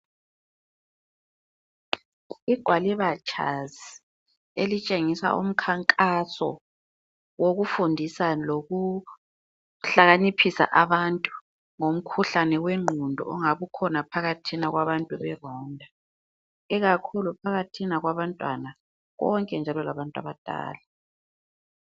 Igwaliba tshazi elitshengisa umkhankaso wokufundisa lokuhlakaniphisa abantu ngomkhuhlane wengqondo ongabe ukhona phakathina kwabantu be Rwanda, ikakhulu phakathina kwabantwana konke nje labantu abadala.